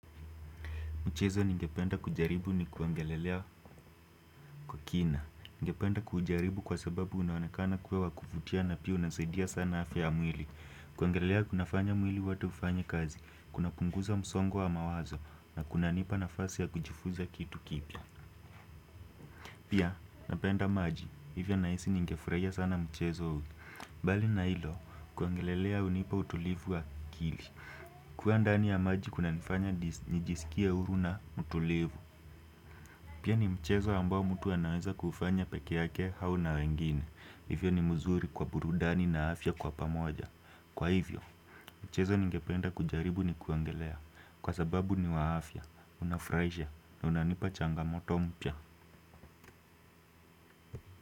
Mchezo ningependa kujaribu ni kuongelelea kwa kina. Ningependa kujaribu kwa sababu unaonekana kuwa wakuvutia na pia unanisaidia sana afya mwili. Kuogelelea kuna fanya mwili wote ufanye kazi. Kunapunguza msongo wa mawazo, na kunanipa nafasi ya kujifunza kitu kipya pia napenda maji. Hivyo nahisi ningefurahia sana mchezo huu bali na hilo. Kuogelelea hunipa utulivu wa akili. Kuwa ndani ya maji kunanifanya nijiskie huru na mtulivu pia ni mchezo ambao mtu anaweza kufanya peke yake au na wengine, hivyo ni mzuri kwa burudani na afya kwa pamoja. Kwa hivyo, mchezo ningependa kujaribu ni kuongelea, kwa sababu ni wa afya, unafurahisha na unanipa changamoto mpya.